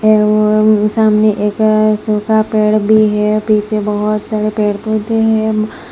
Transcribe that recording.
एवं सामने एक सुखा पेड़ भी है। पीछे बहुत सारे पेड़ पौधे हैं।